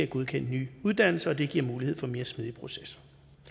godkendt nye uddannelser og det giver mulighed for en mere smidig proces